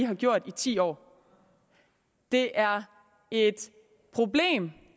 har gjort i ti år det er et problem